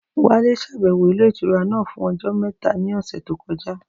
Wálé ṣàbẹ̀wò ilé ìtura náà fún ọjọ́ mẹ́ta ní ọ̀sẹ̀ tó kọjá